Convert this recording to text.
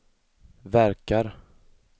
verkar